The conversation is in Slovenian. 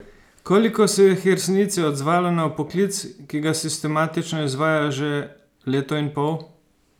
Koliko se jih je v resnici odzvalo na vpoklic, ki ga sistematično izvajajo že leto in pol?